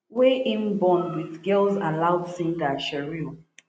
wey im born wit girls aloud singer cheryl